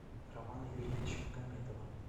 романа юрьевича магомедова